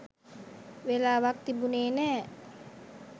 වෙලාවක් තිබුණෙ නෑ